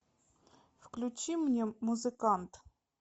включи мне музыкант